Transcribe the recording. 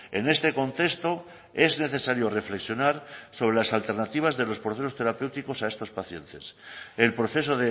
en este contexto es necesario reflexionar sobre las alternativas de los procesos terapéuticos a estos pacientes el proceso